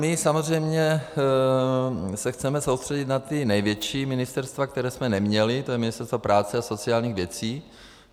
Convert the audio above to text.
My samozřejmě se chceme soustředit na ta největší ministerstva, která jsme neměli, to je Ministerstvo práce a sociálních věcí.